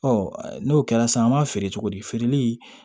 n'o kɛra sisan an b'a feere cogo di feereli